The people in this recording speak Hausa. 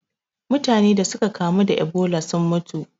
Mutane da suka kamu da Ebola sun mutu.